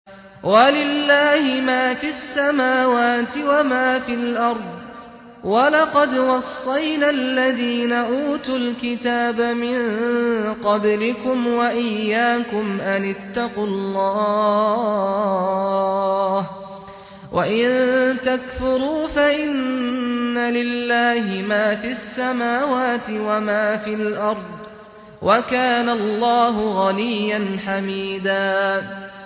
وَلِلَّهِ مَا فِي السَّمَاوَاتِ وَمَا فِي الْأَرْضِ ۗ وَلَقَدْ وَصَّيْنَا الَّذِينَ أُوتُوا الْكِتَابَ مِن قَبْلِكُمْ وَإِيَّاكُمْ أَنِ اتَّقُوا اللَّهَ ۚ وَإِن تَكْفُرُوا فَإِنَّ لِلَّهِ مَا فِي السَّمَاوَاتِ وَمَا فِي الْأَرْضِ ۚ وَكَانَ اللَّهُ غَنِيًّا حَمِيدًا